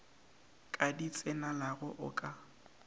ka di tsenelago o ka